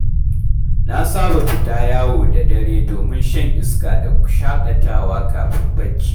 Na saba fita yawo da dare domin shan iska da shaƙatawa kafin barci.